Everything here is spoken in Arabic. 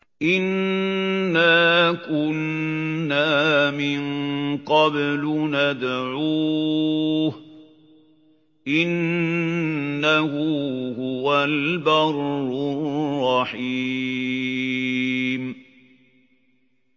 إِنَّا كُنَّا مِن قَبْلُ نَدْعُوهُ ۖ إِنَّهُ هُوَ الْبَرُّ الرَّحِيمُ